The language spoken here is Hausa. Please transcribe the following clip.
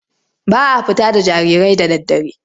Ba a fita da jarirai da daddare.